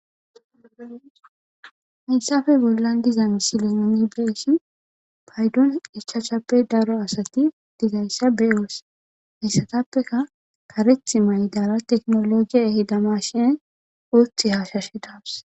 Haysafe bollan diza misile nuni be'eshin paydon ichashappe daro asati dizayssa beyoos hessatappeka kareth maydara teknologiya ehida mashin uthi haashashe dawus